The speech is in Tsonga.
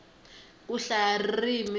ku hlaya ririmi